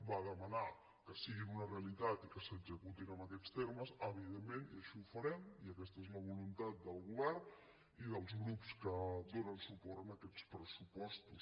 va demanar que siguin una realitat i que s’executin en aquests termes evidentment i així ho farem i aquesta és la voluntat del govern i dels grups que donen suport a aquests pressupostos